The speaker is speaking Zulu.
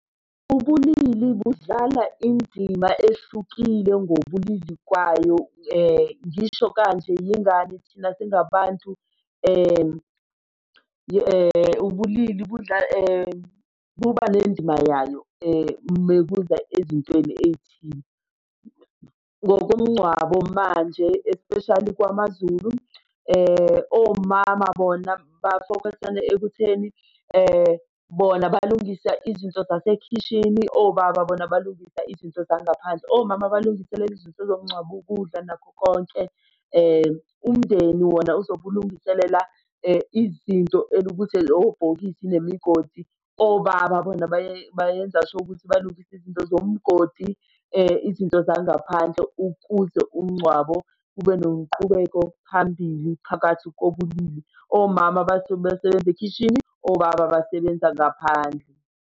Ubulili budlala indima ehlukile ngobulili kwayo. Ngisho kanje yingani? Thina singabantu ubulili buba nendima yayo mekuza ezintweni ey'thile. Ngokomncwabo manje especially kwamaZulu, omama bona basokolisane ekutheni bona balungisa izinto zasekhishini obaba bona balungisa izinto zangaphandle. Omama balungiselele izinto zomncwabo, ukudla nakho konke. Umndeni wona ozobe ulungiselela izinto elukuthi obhokile nemigodi. Obaba bona bayenza sure ukuthi balungisa izinto zomgodi, izinto zangaphandle, ukuze umncwabo ube nomqubeko phambili phakathi kobulili. Omama bathi besebenza ekhishini, obaba basebenza ngaphandle.